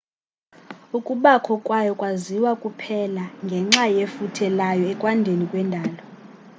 ukubakho kwayo kwaziwa kuphela ngenxa yefuthe layo ekwandeni kwendalo